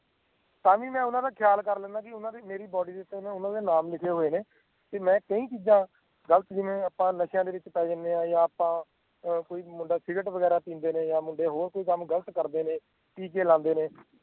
ਤਾਂ ਵੀ ਮੈਂ ਓਹਨਾ ਦਾ ਖਿਆਲ ਕਰ ਲੈਂਦਾ ਆਂ ਵੀ ਇਹਨਾਂ ਦੀ ਮੇਰੀ body ਦੇ ਓਹਨਾ ਦੇ ਨਾਮ ਲਿਖੇ ਹੋਏ ਨੇ ਤੇ ਮੈਂ ਕਈ ਚੀਜ਼ਾਂ ਗਲਤ ਜੀਂਵੇ ਆਪਾਂ ਨਸ਼ਏਆਂ ਵਿਚ ਪੈ ਜਾਂਦੇ ਆਂ ਜਾਂ ਆਪਾਂ ਕੋਈ ਵੀ ਮੁੰਡਾ ਸਿਗਰੇਟ ਵਗੈਰਾ ਜਾਂ ਹੋਰ ਵੀ ਗਲਤ ਕੰਮ ਕਰਦੇ ਨੇ ਟੀਕੇ ਲਾਂਦੇ ਨੇ